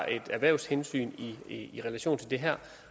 et erhvervshensyn i relation til det her